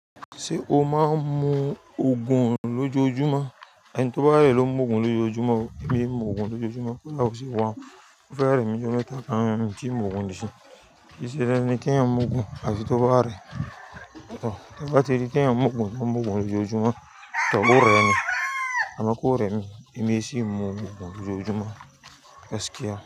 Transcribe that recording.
Ṣé o máa ń mu Ògùn lójoojúmọ́? Ẹni tó bá rẹ̀ ló ń mu Ògùn lójoojúmọ́, èmi ń mu Ògùn lójoojúmọ́, ko da o sì wá. Ó fẹ́ rẹ̀ mí lóde táa ká ń jí Ògùn ní ìsìn. Kì í ṣe dandan ni ki'yan mu Ògùn, áfi tó bá rẹ̀. Ọ̀, tẹ ba ti rí kí ẹ̀yan ń mu Ògùn, ń mu Ògùn lójoojúmọ́, tọ́kù rẹ̀ ni. Àmọ́ kó rẹ̀ mi, èmi ẹ sí ń mu Ògùn lójoojúmọ́. Ẹ̀skí a?